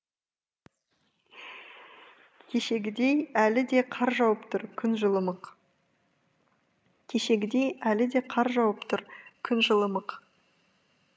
кешегідей әлі де қар жауып тұр күн жылымық кешегідей әлі де қар жауып тұр күн жылымық